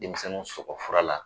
Denmisɛnnin sɔgɔ fura la